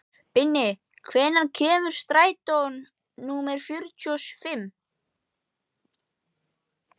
Binni, hvenær kemur strætó númer fjörutíu og fimm?